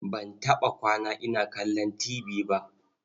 Ban taɓa kwana ina kallon tibi ba.